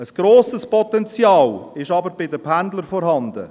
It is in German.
Ein grosses Potenzial gibt es aber bei den Pendlern.